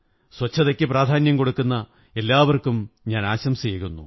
സ്വച്ഛതയ്ക്കു പ്രാധാന്യം കൊടുക്കുന്ന എല്ലാവര്ക്കും ആശംസയേകുന്നു